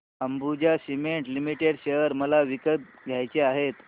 Ambuja cement limited share मला विकत घ्यायचे आहेत